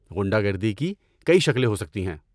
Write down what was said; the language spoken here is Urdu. غنڈہ گردی کی کئی شکلیں ہو سکتی ہے۔